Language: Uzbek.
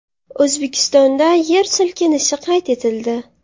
O‘zbekistonda yer silkinishi qayd etildi.